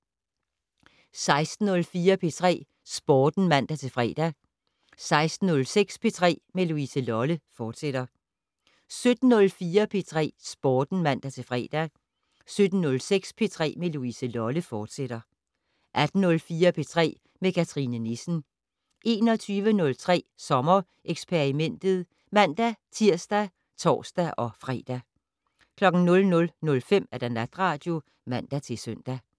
16:04: P3 Sporten (man-fre) 16:06: P3 med Louise Lolle, fortsat 17:04: P3 Sporten (man-fre) 17:06: P3 med Louise Lolle, fortsat 18:04: P3 med Cathrine Nissen 21:03: Sommereksperimentet (man-tir og tor-fre) 00:05: Natradio (man-søn)